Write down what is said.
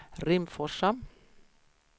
Rimforsa